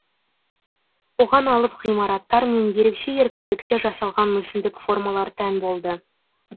оған алып ғимараттар мен ерекше еркіндікте жасалған мүсіндік формалар тән болды